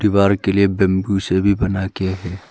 दीवार के लिए बंबू से भी बना गया है।